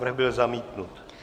Návrh byl zamítnut.